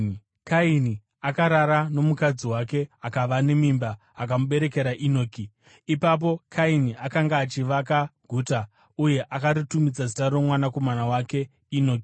Kaini akarara nomukadzi wake, akava nemimba akamuberekera Enoki. Ipapo Kaini akanga achivaka guta, uye akaritumidza zita romwanakomana wake Enoki.